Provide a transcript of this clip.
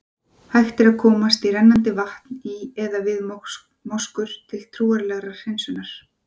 Hægt er að komast í rennandi vatn í eða við moskur, til trúarlegrar hreinsunar.